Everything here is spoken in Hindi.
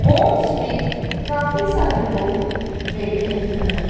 पोर्ट्स मे काफी सारे लोग बैठे हुए है।